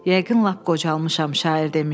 Yəqin lap qocalmışam şair demişkən.